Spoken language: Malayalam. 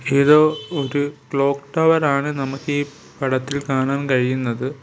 ഇത് ഒരു ക്ലോക്ക് ടവർ ആണ് നമുക്ക് ഈ പടത്തിൽ കാണാൻ കഴിയുന്നത്.